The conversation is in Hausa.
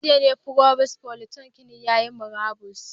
A jiya ne provost polytechnic yayi murabus